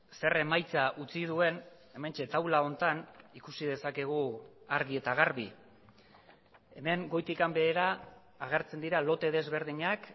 zer emaitza utzi duen hementxe taula honetan ikusi dezakegu argi eta garbi hemen goitik behera agertzen dira lote desberdinak